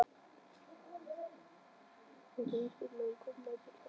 Og hún spyr hann hvort Ísbjörg megi koma til hennar.